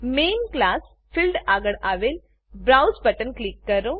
main class main class field આગળ આવેલ browse browse button click કરો